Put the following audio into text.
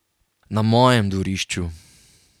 Na mojem dvorišču.